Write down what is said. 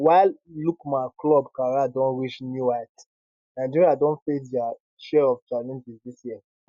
while lookman club career don reach new heights nigeria don face dia share of challenges dis year